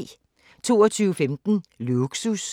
22:15: Lågsus